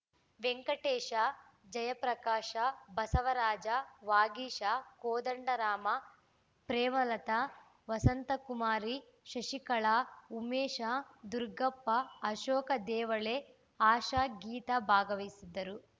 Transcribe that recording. ವೆಂಕಟೇಶ ಜಯಪ್ರಕಾಶ ಬಸವರಾಜ ವಾಗೀಶ ಕೋದಂಡರಾಮ ಪ್ರೇಮಲತಾ ವಸಂತಕುಮಾರಿ ಶಶಿಕಲಾ ಉಮೇಶ ದುರ್ಗಪ್ಪ ಅಶೋಕ ದೇವಳೆ ಆಶಾ ಗೀತಾ ಭಾಗವಹಿಸಿದ್ದರು